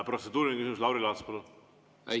Protseduuriline küsimus, Lauri Laats, palun!